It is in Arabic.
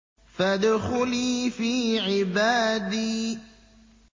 فَادْخُلِي فِي عِبَادِي